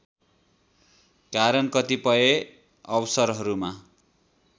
कारण कतिपय अवसरहरूमा